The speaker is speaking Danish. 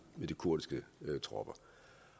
kurdiske tropper